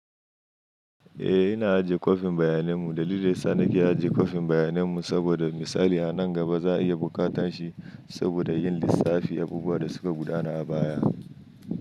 Eh, ina ajiye kwafin bayanan mu. Dalilin da ya sa nake ajiye kwafin bayanan mu saboda misali a nan gaba za a iya buƙatar shi saboda yin lissafi abubuwan da suka gudana a baya.